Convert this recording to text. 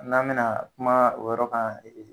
N'a mi na kuma o yɔrɔ kan